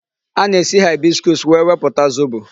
A na-esi hibiscus wee wepụta zobo.